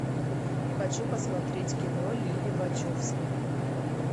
хочу посмотреть кино лили вачовски